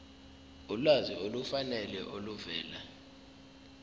ulwazi olufanele oluvela